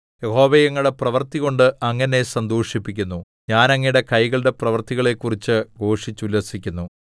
യഹോവേ അങ്ങയുടെ പ്രവൃത്തികൊണ്ട് അങ്ങ് എന്നെ സന്തോഷിപ്പിക്കുന്നു ഞാൻ അങ്ങയുടെ കൈകളുടെ പ്രവൃത്തികളെക്കുറിച്ച് ഘോഷിച്ചുല്ലസിക്കുന്നു